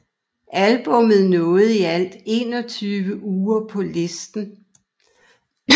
Albummet nåede i alt 21 uger på listen